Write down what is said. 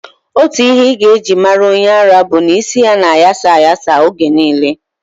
Otu ihe ị ga-eji mara onye ara bụ na isi ya na-aghasa aghasa oge niile.